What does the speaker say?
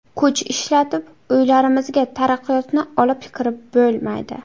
Kuch ishlatib uylarimizga taraqqiyotni olib kirib bo‘lmaydi.